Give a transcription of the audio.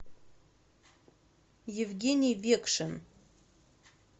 евгений векшин